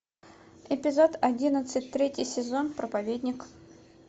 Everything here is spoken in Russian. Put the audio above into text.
эпизод одиннадцать третий сезон проповедник